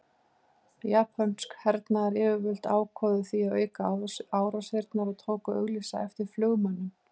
Japönsk hernaðaryfirvöld ákváðu því að auka árásirnar og tóku að auglýsa eftir flugmönnum.